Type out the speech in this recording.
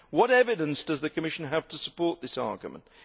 What evidence does the Commission have to support this argument?